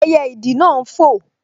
Ẹyẹ ìdì náà n fò